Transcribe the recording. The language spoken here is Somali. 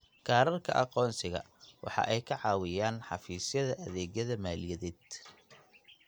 Kaadhadhka aqoonsiga waxa ay ka caawinayaan xafiisyadda adeegyada maaliyadeed.